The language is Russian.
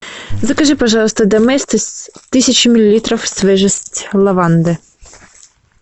закажи пожалуйста доместос тысяча миллилитров свежесть лаванды